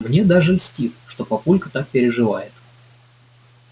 мне даже льстит что папулька так переживает